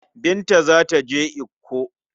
Binta za ta je Ikko.